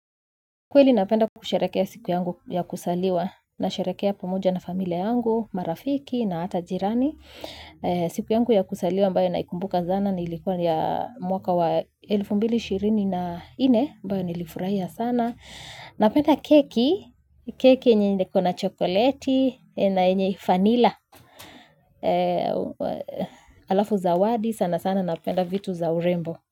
Kweli napenda kusherekea siku yangu ya kuzaliwa nasherekea pamoja na familia yangu, marafiki na hata jirani. Siku yangu ya kuzaliwa ambayo naikumbuka sana ni ilikuwa ya mwaka wa elfu mbili na ishirini na nne ambayo nilifurahia sana. Napenda keki, keki yenye ikona chokoleti na yenye vanila. Alafu zawadi sana sana napenda vitu za urembo.